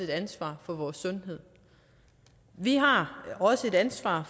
et ansvar for vores sundhed vi har også et ansvar